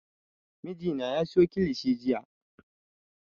Mijina ya siyo kilishi jiya